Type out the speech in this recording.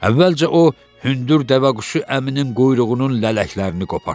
Əvvəlcə o hündür dəvəquşu əminin quyruğunun lələklərini qopardı.